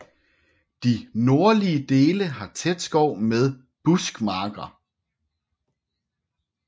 De nordlige dele har tæt skov med buskmarker